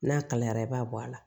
N'a kalayara i b'a bɔ a la